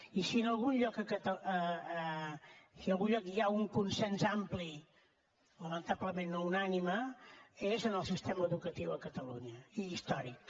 i si en algun lloc hi ha un consens ampli lamentablement no unànime és en el sistema educatiu a catalunya i històric